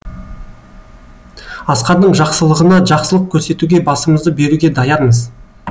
асқардың жақсылығына жақсылық көрсетуге басымызды беруге даярмыз